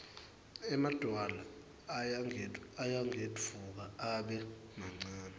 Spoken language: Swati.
emadvwala ayagedvuka abe mancane